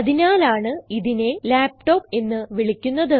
അതിനാലാണ് ഇതിനെ laptopഎന്ന് വിളിക്കുന്നത്